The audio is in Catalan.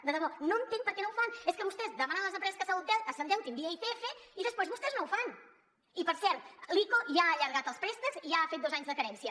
de debò no entenc per què no ho fan és que vostès demanen a les empreses que s’endeutin via icf i després vostès no ho fan i per cert l’ico ja ha allargat els préstecs i ja ha fet dos anys de carència